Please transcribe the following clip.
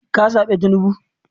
ka zabe tinubu?